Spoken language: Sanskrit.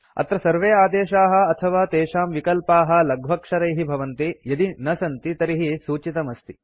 अत्र सर्वे आदेशाः अथवा तेषां विकल्पाः लघ्वक्षरैः भवन्ति यदि न सन्ति तर्हि सूचितम् अस्ति